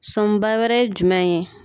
Sɔnba wɛrɛ ye jumɛn ye